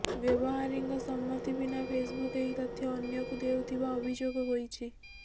ବ୍ୟବହାରୀଙ୍କ ସମ୍ମତି ବିନା ଫେସ୍ବୁକ୍ ଏହି ତଥ୍ୟ ଅନ୍ୟକୁ ଦେଉଥିବା ଅଭିଯୋଗ ହୋଇଛି